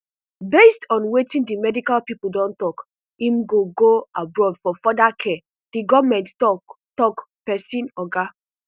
based on wetin di medical pipo don tok im go go abroad for further care di goment tok tok pesin oga